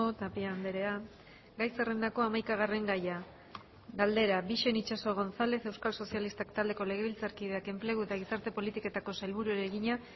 tapia andrea gai zerrendako hamaikagarren gaia galdera bixen itxaso gonzález euskal sozialistak taldeko legebiltzarkideak enplegu eta gizarte politiketako sailburuari egina